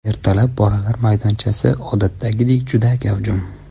Ertalab bolalar maydonchasi, odatdagidek, juda gavjum.